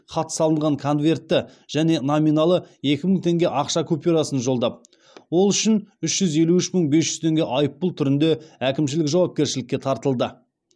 хат салынған конвертті және номиналы екі мың теңге ақша купюрасын жолдап ол үшін үш жүз елу үш мың бес жүз теңге айыппұл түрінде әкімшілік жауапкершілікке тартылды